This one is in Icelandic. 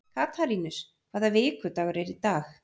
Katarínus, hvaða vikudagur er í dag?